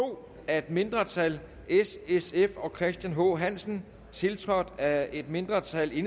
to af et mindretal s sf og christian h hansen tiltrådt af et mindretal